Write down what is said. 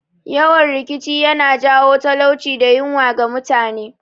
Yawan rikici yana jawo talauci da yunwa ga mutane